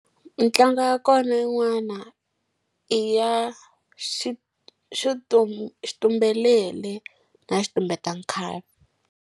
Ntlangu ya kona yin'wana i ya xitumbelele na xitumbeta nkhavi.